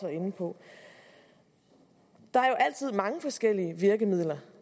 inde på der er jo altid mange forskellige virkemidler